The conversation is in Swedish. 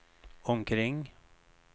omkring